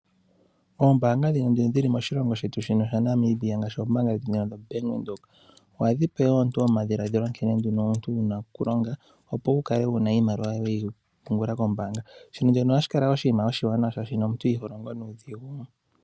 Oombaanga dhino dhi li moshilongo shetu shino shaNamibia ngaashi oombaanga dhetu ndhino dhoBank Widhoek, ohadhi pe omuntu omadhiladhilo nkene nduno omuntu wu na okulonga, opo wu kale wu na iimaliwa yoye weyi pungula kombaanga. Shino nduno ohashi kala oshinima oshiwanawa shaashi no omuntu iho longo nuudhigu.